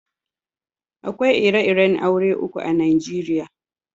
Akwai ire-iren aure uku a'Nijeriya.